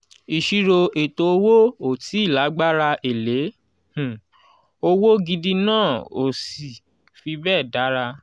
ìṣirò ètò owó ò tíì lágbára èlé um owó gidi náà ò sì fi bẹ́ẹ̀ dára.